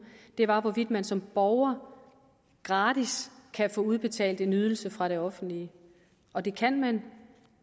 har at hvorvidt man som borger gratis kan få udbetalt en ydelse fra det offentlige og det kan